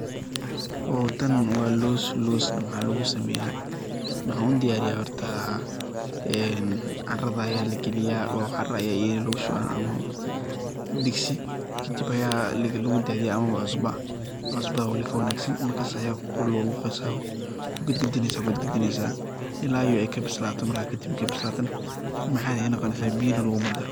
Oo taan wa loos, loosna maxa lugusameya maxan udiyaariya horta ee caradha aya lagi liyaa oo caraa aya iyadha lugu shubaa ama digsi kadiib aya lugudadhiya ama wa cusbo, cusba walii ka wanagsaan markas aya ku luqluqeysa kugid gidineysa kugid gidineysa ilaa ay kabislaato marka kadiib marka ay bislaatana macan ay noqo neysa biyo lugumadaro.